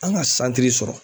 An ŋa santiri sɔrɔ